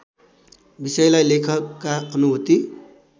विषयलाई लेखकका अनुभूति